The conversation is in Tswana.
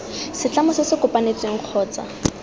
setlamo se se kopanetsweng kgotsa